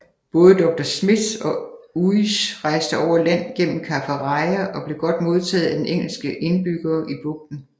Både Dr Smith og Uys rejste over land gennem Kaffraria og blev godt modtaget af den engelske indbyggere i bugten